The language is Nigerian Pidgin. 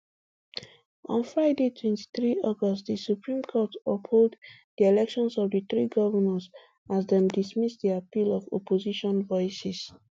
on friday twenty-three august di supreme court uphold di elections of di three govnors as dem dismiss di appeal of opposition voices